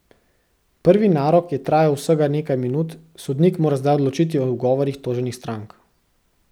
Prvi narok je trajal vsega nekaj minut, sodnik mora zdaj odločiti o ugovorih toženih strank.